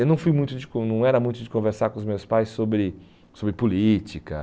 Eu não fui muito de con não era muito de conversar com os meus pais sobre sobre política.